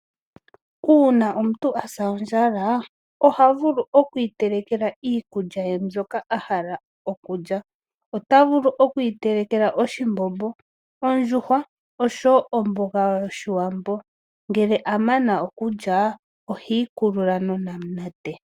Uuna omuntu asa ondjala oha vulu oku itelekela iikulya ye mbyoka a hala okulya. Ota vulu okuteleka oshimbombo, ondjuhwa nomboga yOshiwambo. Ngele a mana okulya ohi ikulula nonamunate.